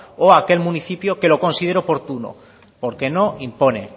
o aquel municipio que lo considere oportuno porque no impone